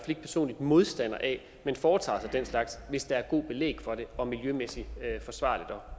ikke personligt modstander af at man foretager sig den slags hvis der er godt belæg for det og miljømæssigt forsvarligt at